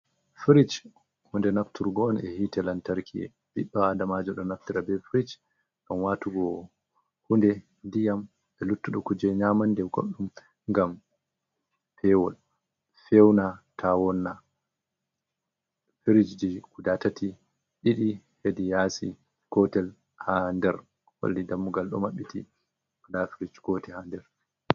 Frich hunde nafturgo on e hite lantarki, biɗɗo adamajo ɗo naftira be frich ngam watugo hunde, diyam e luttuɗum kuje nyamande e goɗɗum, ngam heɓa pewol fewna tawonna. Firijji guda tati ɗiɗi hedi yasi, gotel ha nder holli dammugal ɗo maɓɓiti, nda firij ko woni ha nder.